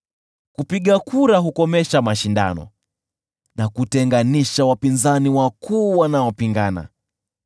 Kupiga kura hukomesha mashindano na kutenganisha wapinzani wakuu wanaopingana.